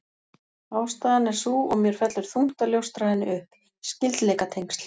Ástæðan er sú, og mér fellur þungt að ljóstra henni upp: Skyldleikatengsl